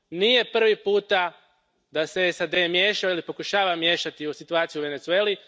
Nije prvi puta da se SAD miješa ili pokušava miješati u situaciju u Venezueli.